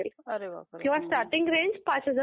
अरे बापरे